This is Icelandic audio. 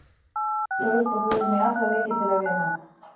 Við ætlum klárlega upp og förum í alla leiki til að vinna.